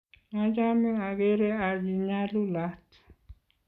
machame ageere achi nyalulat